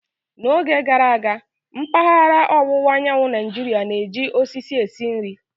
N'oge gara aga, mpaghara ọwụwa anyanwụ Naijiria na-eji osisi esi nri.